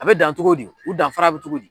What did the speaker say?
A be dan togo di u danfara be togo di